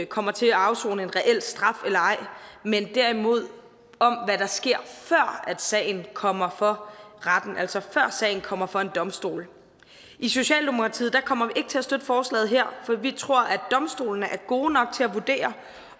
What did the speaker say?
kommer til at afsone en reel straf eller ej men derimod om hvad der sker før sagen kommer for retten altså før sagen kommer for en domstol i socialdemokratiet kommer ikke til at støtte forslaget her for vi tror at domstolene er gode nok til at vurdere